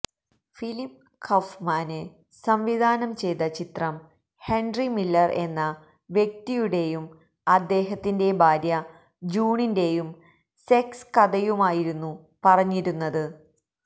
Philip Kaufman സംവിധാനം ചെയ്ത ചിത്രം ഹെന്ററി മില്ലര് എന്ന വ്യക്തിയുടെയും അദ്ദേഹത്തിന്റെ ഭാര്യ ജൂണിന്റെയും സെക്സ് കഥയുമായിരുന്നു പറഞ്ഞിരുന്നത്